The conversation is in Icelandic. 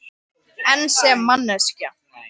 En sem manneskja?